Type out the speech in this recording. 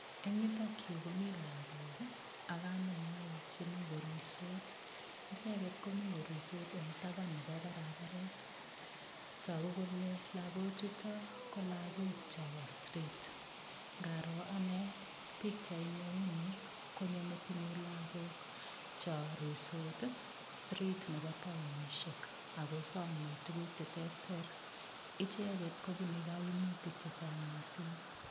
Eng yutok yu komi lagok ak kamengwai chemi koruisot. Icheget komi koruisot eng tapan nebo paraparet. Tagu kole lagochuto kou chobo strit. Ngaroo anne pikchait ne uni konyo metinyu lagok cho ruisot ii strit nebo taonisiek ago somei tuguk che terter. Icheget kobunei kaimutik che chang mising.